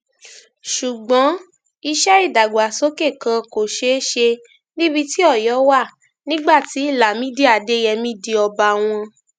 ṣùgbọn iṣẹ ìdàgbàsókè kan kò ṣeé ṣe níbi tí ọyọ wà nígbà tí lámìdí adeyemi di ọba wọn